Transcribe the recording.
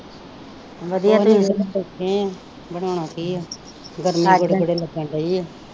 ਨਹੀਂ ਬੈਠੇ ਆ ਬਣਾਉਣਾ ਕੀ ਆ ਗਰਮੀ ਗੋਡੇ ਗੋਡੇ ਲੱਗਣ ਦੀ ਆ।